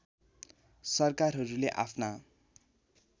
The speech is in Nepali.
सरकारहरूले आफ्ना